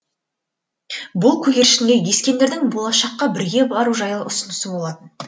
бұл көгершінге ескендірдің болашаққа бірге бару жайлы ұсынысы болатын